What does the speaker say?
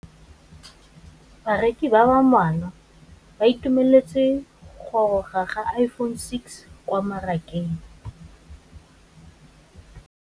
Bareki ba ba malwa ba ituemeletse go gôrôga ga Iphone6 kwa mmarakeng.